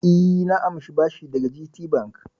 E, na amshi bashi daga GTBank.